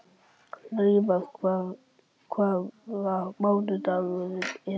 Laufar, hvaða mánaðardagur er í dag?